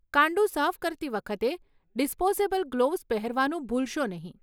કાંડુ સાફ કરતી વખતે ડિસ્પોઝેબલ ગ્લોવ્ઝ પહેરવાનું ભૂલશો નહીં.